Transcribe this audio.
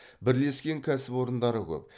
бірлескен кәсіпорындары көп